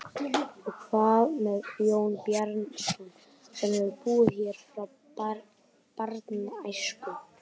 Og hvað með Jón Bjarnason sem hefur búið hér frá barnæsku?